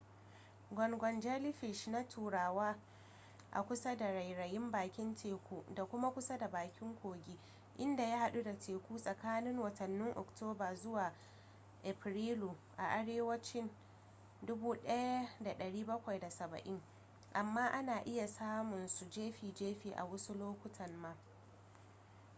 gungun jellyfish na taruwa a kusa da rairayin bakin teku da kuma kusa da bakin kogi inda ya hadu da teku tsakanin watannin oktoba zuwa afrilu a arewacin 1770 amma ana iya samunsu jefi jefi a wasu lokutan ma